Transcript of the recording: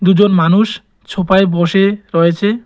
দুজন মানুষ ছোফায় বসে রয়েছে।